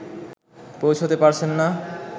পৌঁছতে পারছেন না